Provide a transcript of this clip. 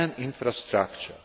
and infrastructure.